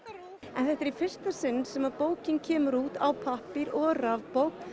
þetta er í fyrsta sinn sem að bókin kemur út á pappír og rafbók